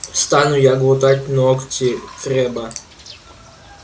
стану я глотать ногти крэбба